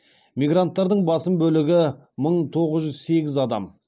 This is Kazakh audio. мигранттардың басым бөлігі мың тоғыз жүз сегіз адам